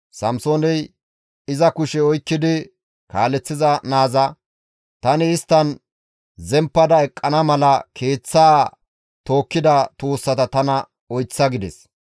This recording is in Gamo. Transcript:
Samsooney iza kushe oykkidi kaaleththiza naaza, «Tani isttan zemppada eqqana mala keeththaa tookkida tuussata tana oyththa» gides.